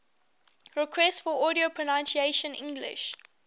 requests for audio pronunciation english